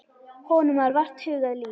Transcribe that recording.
Honum var vart hugað líf.